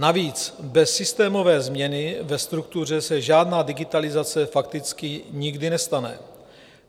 Navíc bez systémové změny ve struktuře se žádná digitalizace fakticky nikdy nestane.